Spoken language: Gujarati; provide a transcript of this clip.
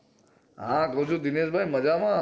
હા ગોજૂ દિનેશભાઈ મજામાં